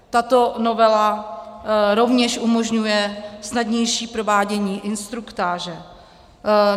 Tato novela rovněž umožňuje snadnější provádění instruktáže.